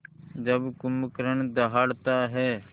जब कुंभकर्ण दहाड़ता है